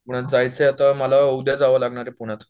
पुण्यात जायचंय आत्ता मला उद्या जावं लागणार आहे पुण्यात